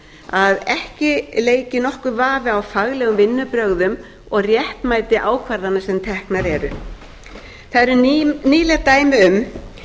að ekki leiki nokkur vafi á faglegum vinnubrögðum og réttmæti ákvarðana sem teknar eru það eru nýleg dæmi um